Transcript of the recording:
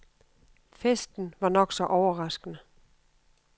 Festen var nok så overraskende.